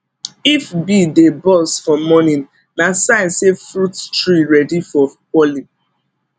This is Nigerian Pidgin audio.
if bee dey buzz for morning na sign say fruit tree ready for pollen